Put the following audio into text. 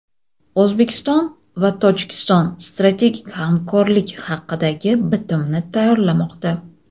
O‘zbekiston va Tojikiston strategik hamkorlik haqidagi bitimni tayyorlamoqda.